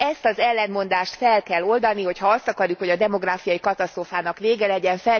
Ezt az ellentmondást fel kell oldani, hogyha azt akarjuk, hogy a demográfiai katasztrófának vége legyen.